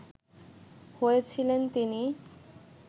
হয়েছিলেন তিনি